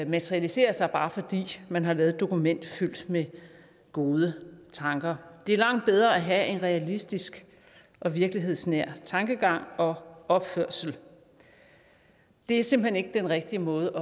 materialiserer sig bare fordi man har lavet et dokument fyldt med gode tanker det er langt bedre at have en realistisk og virkelighedsnær tankegang og opførsel det er simpelt hen ikke den rigtige måde